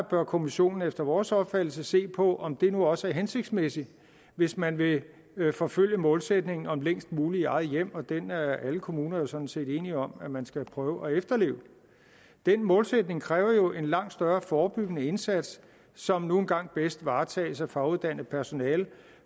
bør kommissionen efter vores opfattelse se på om det nu også er hensigtsmæssigt hvis man vil vil forfølge målsætningen om længst muligt i eget hjem og den er alle kommuner jo sådan set enige om at man skal prøve at efterleve den målsætning kræver jo en langt større forebyggende indsats som nu engang bedst varetages af faguddannet personale